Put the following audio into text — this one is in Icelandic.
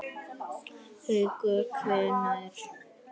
Haukur: Hvenær?